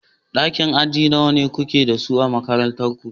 Ɗakin aji nawa kuke da su a makarantar ku.